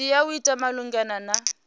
tea u ita malugana na